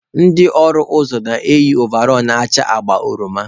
Ndị ọrụ ụzọ na-eyi ovall na-acha agba oroma.